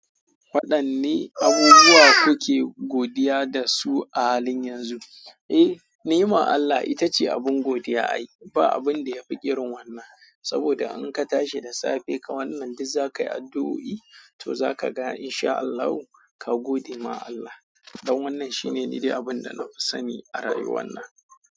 Waɗanne abubuwa kuke godiya da su a halin yanzu? Eh, nema Allah ita ce abin godiya. Ai ba abin da ya fi irin wannan, saboda in ka tashi da safe ka wannan duk za ka yi addu'o'i, to za ka ga in sha Allahu ka gode ma Allah. Don wannan shine niɗe abin da na fi sani a rayuwana.